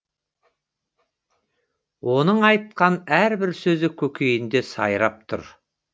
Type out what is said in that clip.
оның айтқан әрбір сөзі көкейінде сайрап тұр